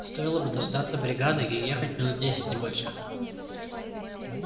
стоило бы дождаться бригады и ехать минут десять не больше